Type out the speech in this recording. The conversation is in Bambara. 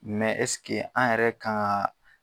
an yɛrɛ kan ŋaa